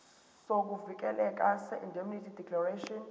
sokuvikeleka seindemnity declaration